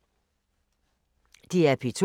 DR P2